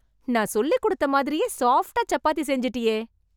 நான் சொல்லிக் குடுத்த மாதிரியே சாஃப்ட்டா சப்பாத்தி செஞ்சுட்டியே...